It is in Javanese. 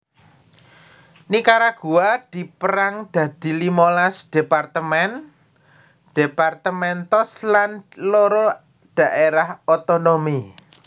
Nikaragua dipérang dadi limolas departemen departamentos lan loro daerah otonomi